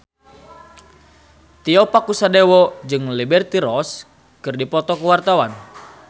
Tio Pakusadewo jeung Liberty Ross keur dipoto ku wartawan